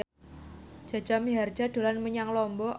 Jaja Mihardja dolan menyang Lombok